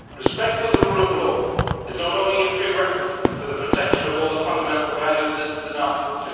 Respect for the rule of law is not only a prerequisite for the protection of all the fundamental values listed in Article